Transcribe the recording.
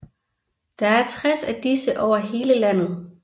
Der er 60 af disse over hele landet